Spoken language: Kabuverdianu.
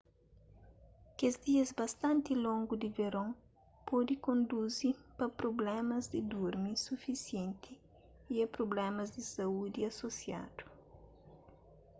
kes dias bastanti longu di veron pode konduzi pa prublémas di durmi sufisienti y a prublémas di saúdi asosiadu